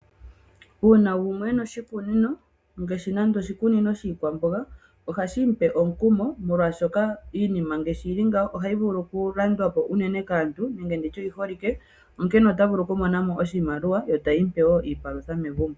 Uuna gumwe e na oshikunino, ngaashi andola oshikunino shiikwamboga, oshi li hashi mu pe omukumo, molwashoka iinima ngaashi yi li ngaaka oyi li yi holike na ohayi vulu okulandwa po kaantu. Momukalo nguka nena ye ota vulu okumona mo oshimaliwa yo iikwamboga tayi mu pe wo iipalwitha megumbo.